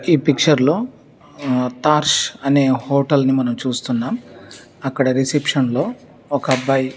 ఈ పిక్చర్ లో ఆకాష్అనే హోటల్ మనం చూస్తున్నాం. అక్కడ రిసెప్షన్ లో ఒక అబ్బాయి--